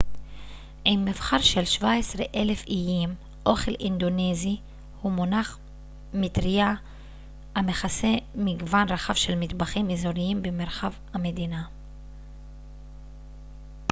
עם מבחר של 17,000 איים אוכל אינדונזי הוא מונח מטרייה המכסה מגוון רחב של מטבחים אזוריים מרחבי המדינה